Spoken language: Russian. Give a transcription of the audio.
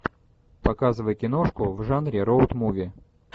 показывай киношку в жанре роуд муви